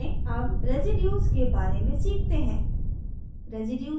अब रेसीड्यूज़ के बारे में सीखते हैं